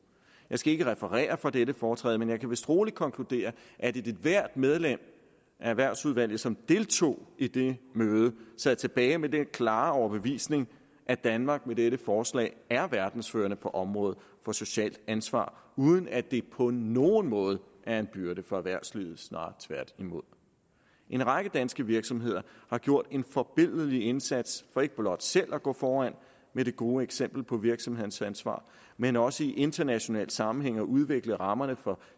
jeg skal ikke referere fra dette foretræde men jeg kan vist roligt konkludere at ethvert medlem af erhvervsudvalget som deltog i det møde sad tilbage med den klare overbevisning at danmark med dette forslag er verdens førende på området for socialt ansvar uden at det på nogen måde er en byrde for erhvervslivet snarere tværtimod en række danske virksomheder har gjort en forbilledlig indsats for ikke blot selv at gå foran med det gode eksempel på virksomhedernes ansvar men også i international sammenhæng at udvikle rammerne for